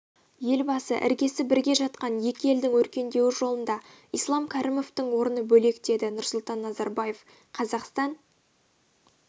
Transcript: елбасы іргесі бірге жатқан екі елдің өркендеуі жолында ислам кәрімовтің орны бөлек деді нұрсұлтан назарбаев қазақстан